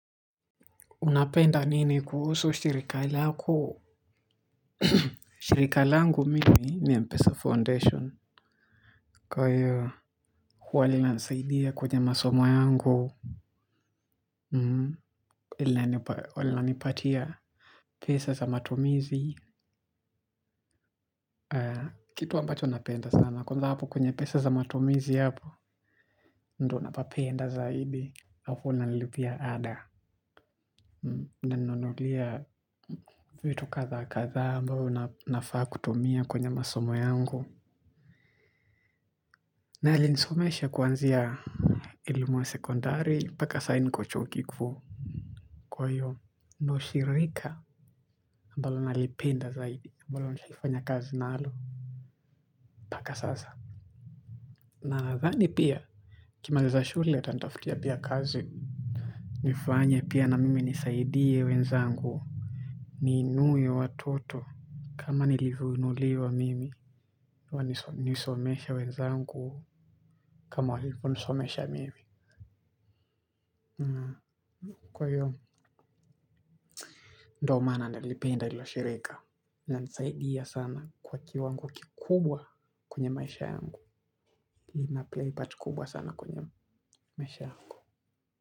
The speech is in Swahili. Unapenda nini kuhusu shirika lako shirika langu mimi ni Mpesa Foundation. Kwa hiyo huwa linasaidia kwenye masomo yangu. Huwa linipatia pesa za matumizi. Kitu ambacho napenda sana kwanza hapo kwenye pesa za matumizi hapo ndo napapenda zaidi halafu nalipia ada na nanunula vitu kadhaa kadhaa ambayo nafaa kutumia kwenye masomo yangu. Na alisomesha kuanzia elimu ya sekondari paka saa niko chuo kikuu. Kwa hivyo ndo shirika ambalo nalipenda zaidi ambalo nishalifanya kazi nalo mpaka sasa. Nathani pia nikimaliza shule atanitafutia pia kazi. Nifanya pia na mimi nisaidie wenzangu ni inue watoto. Kama nilivyoinuliwa mimi, nisomeshe wezangu, kama walivyonisomesha mimi. Kwa hiyo, ndio maana nalipenda hilo shirika. Saidia sana kwa kiwang kikubwa kwenye maisha yangu. Na play part kubwa sana kwenye maisha yangu.